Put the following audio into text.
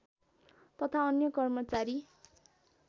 तथा अन्य कर्मचारी